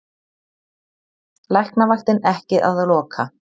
Læknavaktin ekki að loka